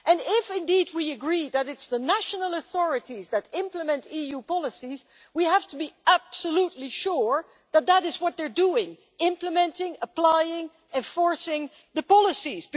If we agree that it is the national authorities that implement EU policies we have to be absolutely sure that that is what they are doing implementing, applying, enforcing the policies.